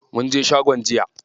Munje shagon jiya.